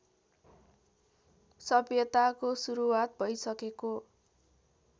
सभ्यताको सुरुवात भैसकेको